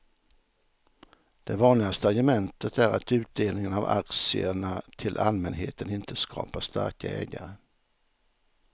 Det vanligaste argumentet är att utdelningen av aktierna till allmänheten inte skapar starka ägare.